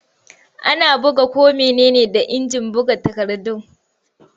Ana buga ko mene ne da injin buga takardu.